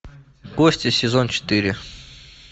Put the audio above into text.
кости сезон четыре